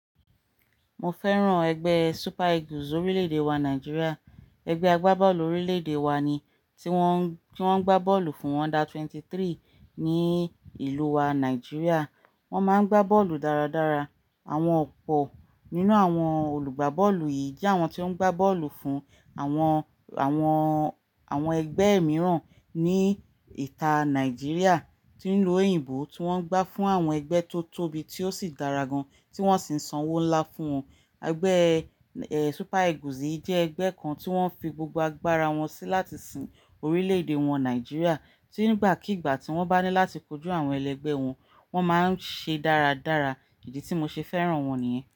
Mo fẹ́ràn ẹgbẹ́ Super Eagles orílẹ̀-èdè wa Nigeria. Ẹgbẹ́ agbábọ́ọ̀lù orílẹ̀-èdè wa ni tí wọ́n ń, tí wọ́n ń gbá bọ́ọ̀lù fún under twenty-three ní ìlúu wa Nàìjíríà. Wọ́n máa ń gbá bọ́ọ̀lù dáradára. Àwọn ọ̀pọ̀ nínú àwọn olùgbá bọ́ọ̀lù yìí jẹ́ àwọn tí ó ń gbá bọ́ọ̀lù fún àwọn, àwọn, àwọn ẹgbẹ́ mìíràn ní ìta Nàìjírí tí ń ìlú èyíǹbo tí wọ́n ń gbá fún àwọn ẹgbẹ́ tó tóbi tí ó sì dára gan tí wọ́n sì ń sanwó ńlá fún wọn. Ẹgbẹ́ Super Eagles yìí jẹ́ ẹgbẹ́ kan tí wọ́n fi gbogbo agbára wọn sí láti sin orílẹ̀-èdè wọ́n Nàìjíríà tí nígbàkígbà tí wọ́n bá ní láti kojú àwọn ẹlẹgbẹ́ wọn, wọ́n máa ń ṣe dáradára. Ìdí tí mo ṣe fẹ́ràn wọn ni.